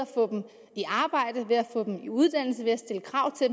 få dem i uddannelse ved at stille krav til